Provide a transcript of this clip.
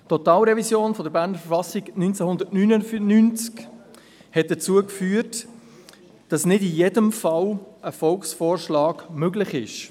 Die Totalrevision der Verfassung des Kantons Bern (KV) im Jahr 1999 führte dazu, dass nicht in jedem Fall ein Volksvorschlag möglich ist.